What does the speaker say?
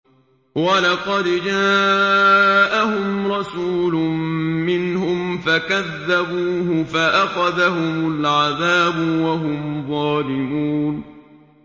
وَلَقَدْ جَاءَهُمْ رَسُولٌ مِّنْهُمْ فَكَذَّبُوهُ فَأَخَذَهُمُ الْعَذَابُ وَهُمْ ظَالِمُونَ